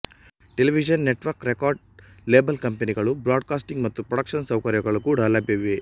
television network record label ಕಂಪನಿಗಳು broadcasting ಮತ್ತು production ಸೌಕರ್ಯಗಳು ಕೂಡ ಲಭ್ಯವಿವೆ